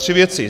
Tři věci.